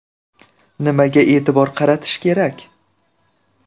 Nimaga e’tibor qaratish kerak?